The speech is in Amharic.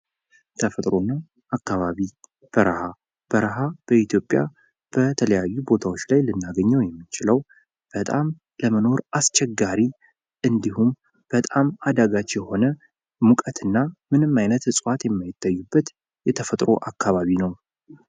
ተፈጥሮ እና አካባቢ:-በረሃ:-በረሃ በኢትዮጵያ በተለያዩ ቦታዎች ላይ ልናገኘው የምንችለው በጣም ለመኖር አስቸጋሪ እንድሁም በጣም አዳጋች የሆነ ሙቀትና ምንም አይነት ዕፅዋት የማይታይበት የተፈጥሮ አካባቢ ነው።